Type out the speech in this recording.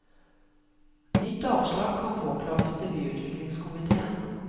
Nytt avslag kan påklages til byutviklingskomitéen.